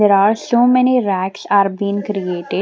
There are so many racks are been created.